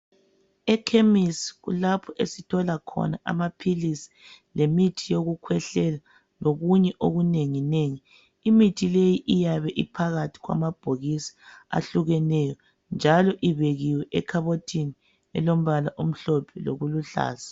Ekhemisi kulapho esithola khona amaphilisi lemithi yokukhwehlela lokunye okunengi nengi. Imithi leyi iyabe iphakathi kwamabhokisi ahlukeneyo njalo ibekiwe ekhabothini elombala omhlophe loluhlaza.